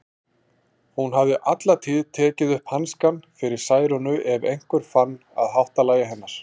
Hún hafði alla tíð tekið upp hanskann fyrir Særúnu ef einhver fann að háttalagi hennar.